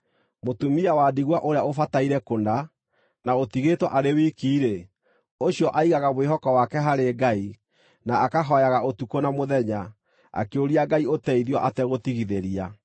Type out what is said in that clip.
Mũtumia wa ndigwa ũrĩa ũbataire kũna, na ũtigĩtwo arĩ wiki-rĩ, ũcio aigaga mwĩhoko wake harĩ Ngai, na akahooyaga ũtukũ na mũthenya, akĩũria Ngai ũteithio ategũtigithĩria.